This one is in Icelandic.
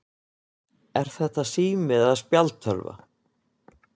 Er þetta sími eða spjaldtölva?